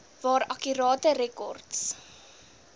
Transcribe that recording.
waar akkurate rekords